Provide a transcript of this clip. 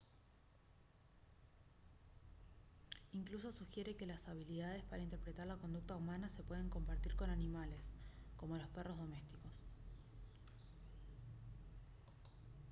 incluso sugiere que las habilidades para interpretar la conducta humana se pueden compartir con animales como los perros domésticos